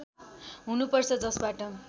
हुनु पर्छ जसबाट